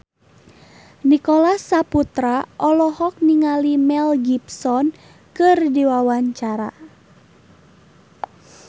Nicholas Saputra olohok ningali Mel Gibson keur diwawancara